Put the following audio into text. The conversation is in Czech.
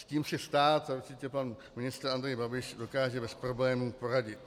S tím si stát a určitě pan ministr Andrej Babiš dokáže bez problémů poradit.